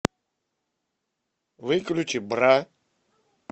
выключи бра